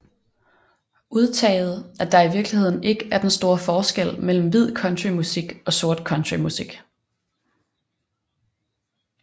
Udtaget at der i virkeligheden ikke er den store forskel mellem hvid country musik og sort country musik